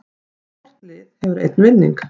Hvort lið hefur einn vinning